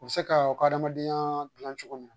U bi se ka u ka adamadenya gilan cogo min.